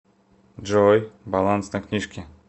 джой баланс на книжке